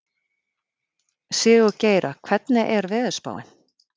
Sigurgeira, hvernig er veðurspáin?